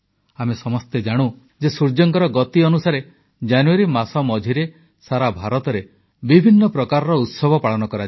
ଆମେ ସମସ୍ତେ ଜାଣନ୍ତି ଯେ ସୂର୍ଯ୍ୟଙ୍କର ଗତି ଅନୁସାରେ ଜାନୁୟାରୀ ମାସ ମଝିରେ ସାରା ଭାରତରେ ବିଭିନ୍ନ ପ୍ରକାର ଉତ୍ସବ ପାଳନ କରାଯିବ